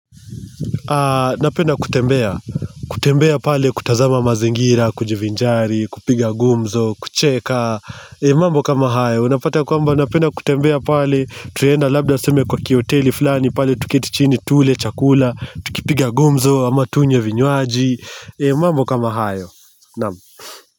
Napenda kutembea, kutembea pale kutazama mazingira, kujivinjari, kupiga gumzo, kucheka mambo kama hayo, unapata kwamba napenda kutembea pale Tunaenda labda tuseme kwa kihoteli fulani pale tuketi chini tule, chakula, tukipiga gumzo, ama tunywe vinywaji mambo kama hayo, naam.